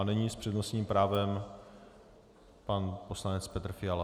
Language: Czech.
A nyní s přednostním právem pan poslanec Petr Fiala.